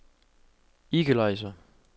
equalizer